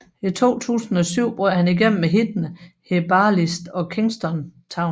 I 2007 brød han igennem med hittene Herbalist og Kingston Town